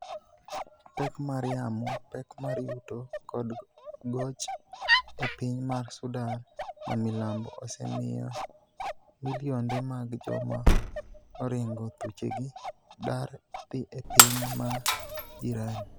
Pek mar yamo, pek mar yuto, kod goch e piny mar Sudan mamilambo osemiyo. milionde mag joma oringo thuchegi dar dhi e piny ma jirani.